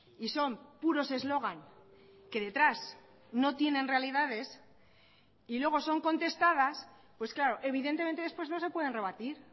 y son puros eslogan que detrás no tienen realidades y luego son contestadas pues claro evidentemente después no se pueden rebatir